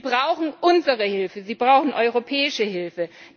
Sie brauchen unsere Hilfe, sie brauchen europäische Hilfe!